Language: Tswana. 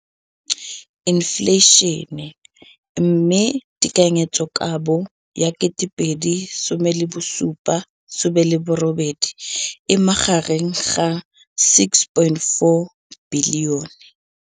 Infleišene, mme tekanyetsokabo ya 2017, 18, e magareng ga R6.4 bilione.